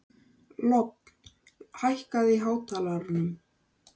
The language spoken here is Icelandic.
Lofn, hækkaðu í hátalaranum.